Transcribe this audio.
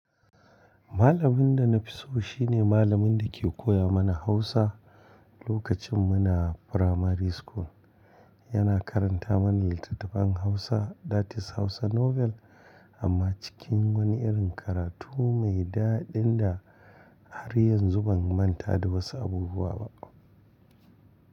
Malamin da na fi so shi ne malamin da ke koya mana Hausa lokacin muna firamari school. Yana karanta mana littattafan Hausa, that is Hausa novel amma cikin wani irin karatu mai daɗi da har yanzu ban manta da wasu abubuwa ba.